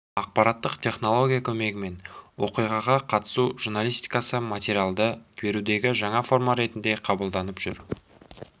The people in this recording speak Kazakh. ақпараттық технология көмегімен оқиғаға қатысу журналистикасы материалды берудегі жаңа форма ретінде қабылданып жүр